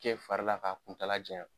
Cɛ farila k'a kuntaala janya.